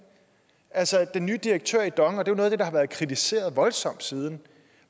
altså den nye direktør i dong og det er noget af det der har været kritiseret voldsomt siden